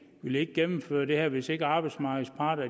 ville gennemføre det her hvis ikke arbejdsmarkedets parter